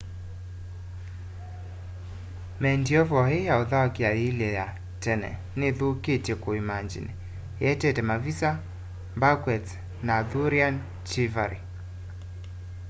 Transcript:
medieval ii ya uthaukia yiilye ya tene nithuthitye kuimangini ietete mavisa banquets na arthurian chivalry